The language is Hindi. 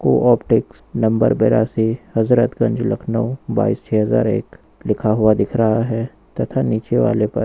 को ऑप्टेक्स नंबर बयासी हजरतगंज लखनऊ बाइस छह हजार एक लिखा हुआ दिख रहा है तथा नीचे वाले पर--